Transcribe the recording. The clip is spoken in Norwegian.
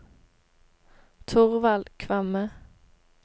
Thorvald Kvamme